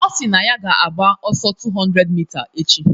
O kwuru na ya ga-agba ọsọ 200 mita echi